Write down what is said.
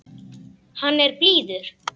Hann er blíður.